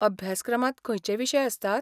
अभ्यासक्रमांत खंयचें विशय आसतात?